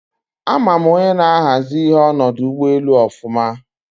A ma m onye na-ahazi ihe n'odu ugboelu ofuma